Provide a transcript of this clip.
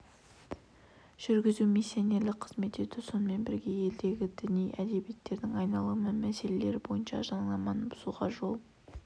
жүргізу миссионерлік қызмет ету сонымен бірге елдегі діни әдебиеттердің айналымы мәселелері бойынша заңнаманы бұзуға жол